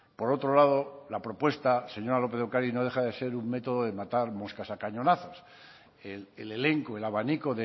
por otro lado la propuesta señora lópez de ocariz no deja de ser un método de matar moscas a cañonazos el elenco el abanico